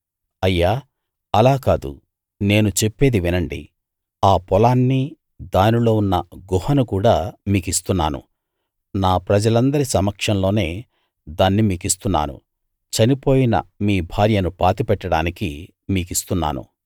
అయ్యా అలా కాదు నేను చెప్పేది వినండి ఆ పొలాన్నీ దానిలో ఉన్న గుహను కూడా మీకిస్తున్నాను నా ప్రజలందరి సమక్షంలోనే దాన్ని మీకిస్తున్నాను చనిపోయిన మీ భార్యను పాతిపెట్టడానికి మీకిస్తున్నాను